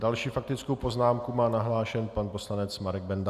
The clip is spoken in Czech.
Další faktickou poznámku má nahlášenu pan poslanec Marek Benda.